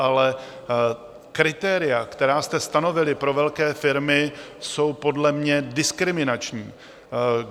Ale kritéria, která jste stanovili pro velké firmy, jsou podle mě diskriminační.